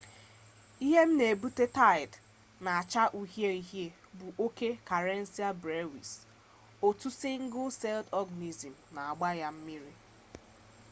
ihe n'ebute taid n'acha uhie uhie bu oke karenia brevis otu single-celled organism n'agba na mmiri